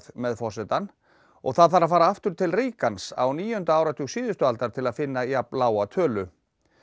með forsetann og þarf að fara aftur til Reagans á níunda áratug síðustu aldar til að finna jafnlága tölu